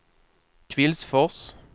Kvillsfors